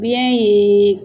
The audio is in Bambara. Biyɛn ye